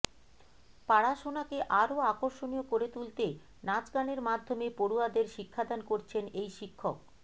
পাড়াশোনাকে আরও আকর্ষনীয় করে তুলতে নাচ গানের মাধ্যমে পড়ুয়াদের শিক্ষাদান করছেন এই শিক্ষক